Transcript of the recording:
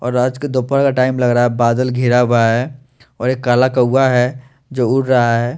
और आज की दोपहर का टाइम लग रहा हे और बादल गिरा हुआ हे और एक काला कौआ हे जो उड़ रहा हैं।